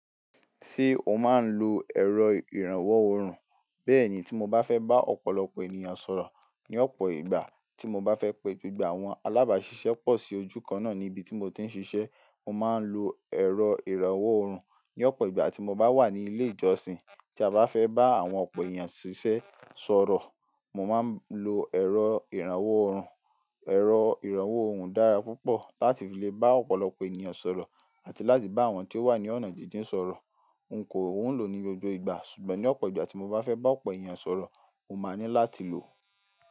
Ṣé o máa ń lo ẹ̀rọ ìrànwọ́ òrùn? Bẹ́ẹ̀ni tí mo bá fẹ́ bá ọ̀pọ̀lọpọ̀ ènìyàn sọ̀rọ̀ ní ọ̀pọ̀ ìgbà, tí mo bá fẹ́ pe gbogbo àwọn alábàáṣiṣẹ́ pọ̀ sí ojú kan náà ní ibi tí mo ti ń ṣiṣẹ́, mo máa ń lo ẹ̀rọ ìrànwọ́ òrùn. Ní ọ̀pọ̀ ìgbà tí mo bá wà ní ilé ìjọsìn, tí a bá fẹ́ bá àwọn ọ̀pọ̀ ènìyàn ṣiṣẹ́ sọ̀rọ̀, mo máa ń lo ẹ̀rọ ìrànwọ́ òrùn. Ẹ̀rọ ìrànwọ́ òhùn dára púpọ̀ láti fi lè bá ọ̀pọ̀lọpọ̀ ènìyàn sọ̀rọ̀ àti láti bá àwọn tí ó wà ní ọ̀nà jíjìn sọ̀rọ̀. N kò ń lò ní gbogbo ìgbà ṣùgbọ́n ní ọ̀pọ̀ ìgbà tí mo bá fẹ́ bá ọ̀pọ̀ ènìyàn sọ̀rọ̀, mo máa ní láti lò ó.